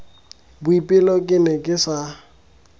boipelo ke ne ke sa